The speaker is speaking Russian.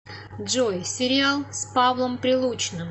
джой сериал с павлом прилучным